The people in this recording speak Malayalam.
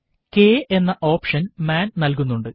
k എന്ന ഓപ്ഷൻ മാൻ നൽകുന്നുണ്ട്